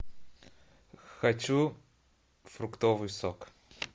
хочу фруктовый сок